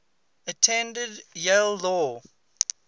attended yale law